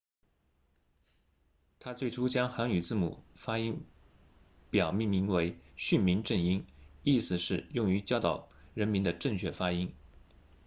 他最初将韩语字母发音表命名为训民正音意思是用于教导人民的正确发音